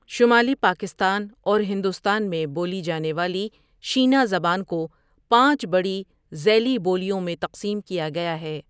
شمالی پاکستان اور ہندوستان میں بولی جانے والی شینا زبان کو پانچ بڑی ذیلی بولیوں میں تقسیم کیا گیا ہے ۔